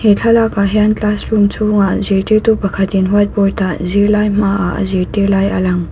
he thlalak ah hian classroom chhung ah zirtirtu pakhat in whiteboard ah zirlai hmaah a zirtir lai a lang.